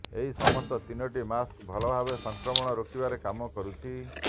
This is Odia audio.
ଏହି ସମସ୍ତ ତିନୋଟି ମାସ୍କ ଭଲ ଭାବରେ ସଂକ୍ରମଣ ରୋକିବାରେ କାମ କରୁଛି